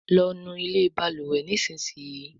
lọ nú ilé balùwè nísìsiyìí!